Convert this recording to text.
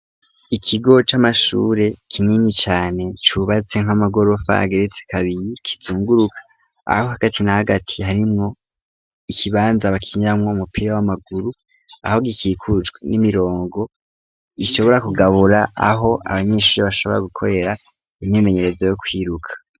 Ikigo c'amashure kinini cane cubatse nk'amagorofa geretse kabiri kizunguruka aho hagati na hagati harimwo ikibanza bakinitamwo umupira w'amaguru .Aho gikikucwa n'imirongo gishobora kugabura aho abanyeshuri bashobora gukorera imyemenyerezo yo kwiruka.